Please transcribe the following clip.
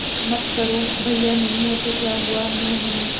मत करो भैया नहीं हैं तो क्या हुआ मैं हूं ना